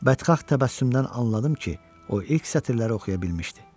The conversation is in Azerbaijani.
Bədxah təbəssümdən anladım ki, o ilk sətirləri oxuya bilmişdi.